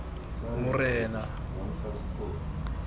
morena